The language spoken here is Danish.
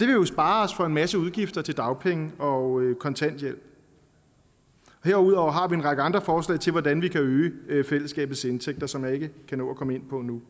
jo spare os for en masse udgifter til dagpenge og kontanthjælp herudover har vi en række andre forslag til hvordan vi kan øge fællesskabets indtægter som jeg ikke kan nå at komme ind på nu